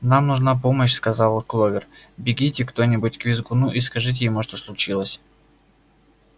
нам нужна помощь сказала кловер бегите кто-нибудь к визгуну и скажите ему что случилось